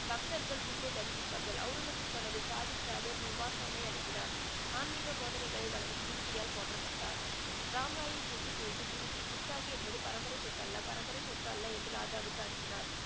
பக்தர்கள் குருவை தரிசிப்பார்கள் அவுரங்கசீப் தனது சாஹித் அனுப்பினார் ஆன்மீக போதனைகளை வழங்கி குருஜியால் போற்றப்பட்டார் ராம் ராயின் கூற்று குறித்து குருஜி என்பது பரம்பரை சொத்து அல்ல பரம்பரை சொத்து அல்ல என்று ராஜாவுக்கு அனுப்பினார்